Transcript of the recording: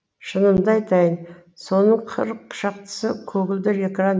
шынымды айтайын соның қырық шақтысы көгілдір экран